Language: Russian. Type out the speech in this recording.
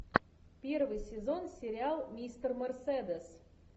первый сезон сериал мистер мерседес